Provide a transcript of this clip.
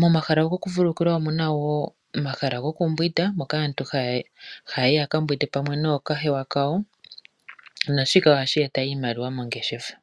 Momahala gokuvululukilwa omuna wo omahala gokumbwinda moka aantu haya yi yakambwinde pamwe nookahewa kawo naashika ohashi eta iimaliwa mongeshefa.